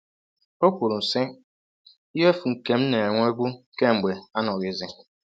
O kwuru, sị: “Ihe efu nke m na-enwebu kemgbe anọghịzi.